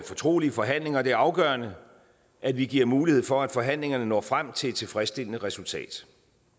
fortrolige forhandlinger og det er afgørende at vi giver mulighed for at forhandlingerne når frem til et tilfredsstillende resultat